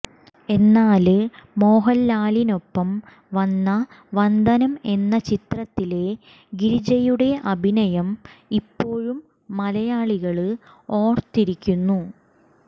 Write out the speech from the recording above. എന്നാല് മോഹന്ലാലിനൊപ്പം വന്ന വന്ദനം എന്ന ചിത്രത്തിലെ ഗിരിജയുടെ അഭിനയം ഇപ്പോഴും മലയാളികള് ഓര്ത്തിരിക്കുന്നു